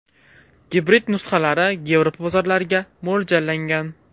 Gibrid nusxalari Yevropa bozorlariga mo‘ljallangan.